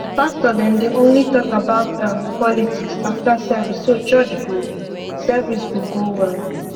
pastor dem dey only talk about um politics after service so church go service go go well